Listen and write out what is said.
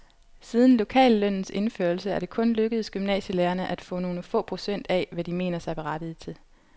Siden lokallønnens indførelse er det kun lykkedes gymnasielærerne at få nogle få procent af, hvad de mener sig berettiget til.